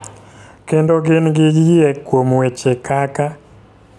Kendo gin gi yie kuom weche kaka,